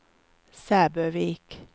Sæbøvik